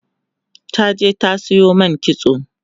ta je ta Sayo man kitso